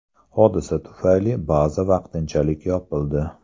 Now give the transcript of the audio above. Hodisa tufayli baza vaqtinchalik yopildi.